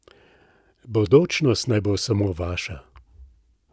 Bodočnost naj bo samo vaša!